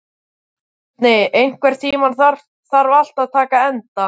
Bjarni, einhvern tímann þarf allt að taka enda.